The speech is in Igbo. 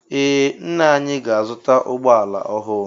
Ee ńnà anyị ga-azuta ụgbọala ọhụụ.